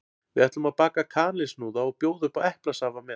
Við ætlum að baka kanilsnúða og bjóða upp á eplasafa með.